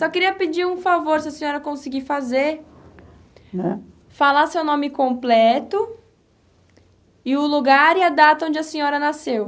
Só queria pedir um favor, se a senhora conseguir fazer, falar seu nome completo e o lugar e a data onde a senhora nasceu.